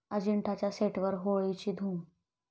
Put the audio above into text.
अजिंठा'च्या सेटवर होळीची धूम